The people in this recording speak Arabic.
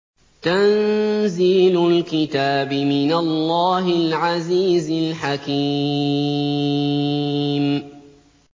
تَنزِيلُ الْكِتَابِ مِنَ اللَّهِ الْعَزِيزِ الْحَكِيمِ